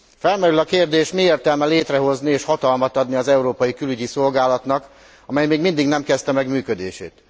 Felmerül a kérdés, mi értelme létrehozni és hatalmat adni az Európai Külügyi Szolgálatnak, amely még mindig nem kezdte meg működését.